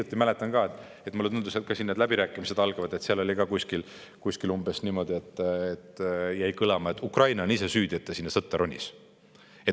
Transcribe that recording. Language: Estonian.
Ma mäletan ka, et hiljuti, läbirääkimiste eel jäi ka kõlama selline sõnum: Ukraina on ise süüdi, et ta sinna sõtta ronis.